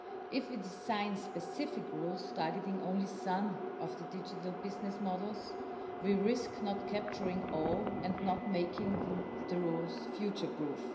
If we design specific rules targeting only some of the digital business models, we risk not capturing all and not making the rules future-proof.